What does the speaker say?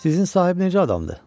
Sizin sahib necə adamdır?